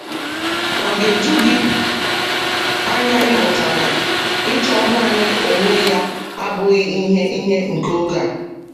Ọ ga-eju gị anya ịmụta na ịchọ naanị onwe ya abụghị ihe ihe nke oge a?